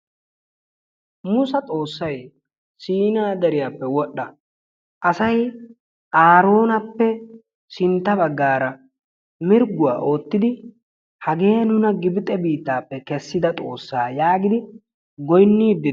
Mussa Xoossay siina deriyaappe wodhdha, asay Aroonappe sintta baggaara mirgguwa oottidi hagee nuuna Gibxe biittappe kessida xoossay yaagidi goynnidi ...